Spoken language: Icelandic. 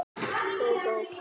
Þeir gengu aftur fyrir húsið.